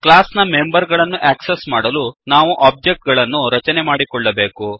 class ನ member ಗಳನ್ನು access ಮಾಡಲು ನಾವು ಒಬ್ಜೆಕ್ಟ್ ಗಳನ್ನು ರಚನೆಮಾಡಿಕೊಳ್ಳಬೇಕು